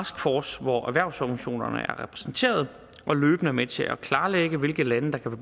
taskforce hvor erhvervsorganisationerne er repræsenteret og løbende er med til at klarlægge hvilke lande der kan